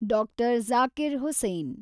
Doctor. Zakir Hussain